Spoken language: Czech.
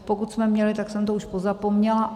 Pokud jsme měli, tak jsem to už pozapomněla.